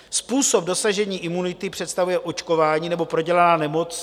Způsob dosažení imunity představuje očkování nebo prodělaná nemoc.